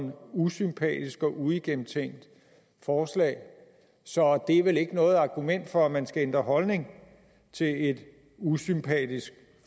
usympatisk og et uigennemtænkt forslag så det er vel ikke noget argument for at man skal ændre holdning til et usympatisk